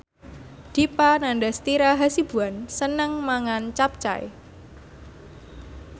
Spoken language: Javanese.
Dipa Nandastyra Hasibuan seneng mangan capcay